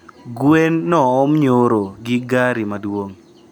Gwen noom nyoro gi gari maduong